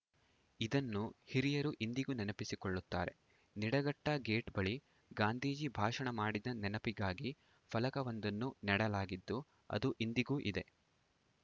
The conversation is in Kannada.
ಇದನ್ನು ಹಿರಿಯರು ಇಂದಿಗೂ ನೆನಪಿಸಿಕೊಳ್ಳುತ್ತಾರೆ ನಿಡಘಟ್ಟಗೇಟ್‌ ಬಳಿ ಗಾಂಧೀಜಿ ಭಾಷಣ ಮಾಡಿದ ನೆನಪಿಗಾಗಿ ಫಲಕವೊಂದನ್ನು ನೆಡಲಾಗಿದ್ದು ಅದು ಇಂದಿಗೂ ಇದೆ